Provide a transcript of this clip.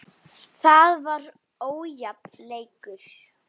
Það var ójafn leikur.